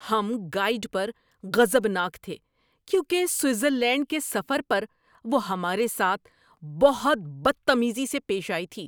ہم گائیڈ پر غضبناک تھے کیونکہ سوئٹزرلینڈ کے سفر پر وہ ہمارے ساتھ بہت بدتمیزی سے پیش آئی تھی۔